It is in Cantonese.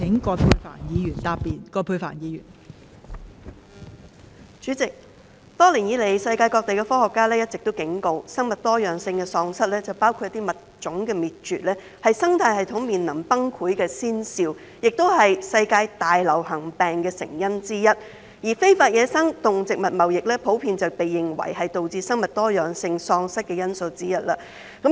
代理主席，多年以來，世界各地的科學家都一直警告，生物多樣性喪失，包括物種滅絕，是生態系統面臨崩潰的先兆，亦是世界大流行病的成因之一，而非法野生動植物貿易普遍被認為是導致生物多樣性喪失的原因之一。